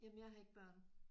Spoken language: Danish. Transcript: Jamen jeg har ikke børn